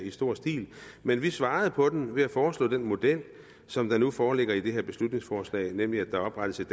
i stor stil men vi svarede på den ved at foreslå den model som nu foreligger i det her beslutningsforslag nemlig at der oprettes et